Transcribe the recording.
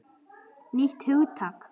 Nýtt hugtak!